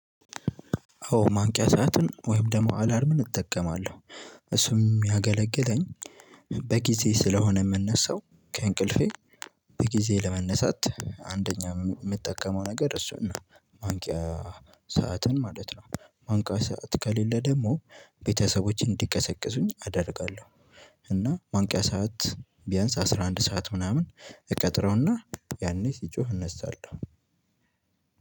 አዎ ማንቂያ ሰዓትን ወይም ደግሞ አላርምን እጠቀማለሁ እሱም ሚያገለግለኝ በጊዜ ስለሆነ የምንነሳው ከእንቅልፌ በጊዜ ለመነሳት አንደኛ የምጠቀመው ነገር እሱ ነው። ማንቂያ ሰዓትን ማለት ነው። ማንቂያ ሰዓት ከሌለ ደግሞ ቤተሰቦቼ እንዲቀሰቅሱኝ አደርጋለሁ። እና ማንቂያ ሰዓት ቢያንስ አስራ አንድ ሰዓት ምናምን እቀጥረውና ያኔ ሲጮህ እነሳለሁ።